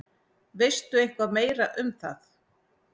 Veistu eitthvað meira um það?